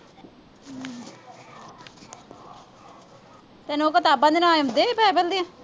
ਤੈਨੂੰ ਉਹ ਕਿਤਾਬਾਂ ਦੇ ਨਾਂ ਆਉਂਦੇ ਸੀ